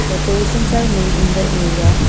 decorations are made in the area.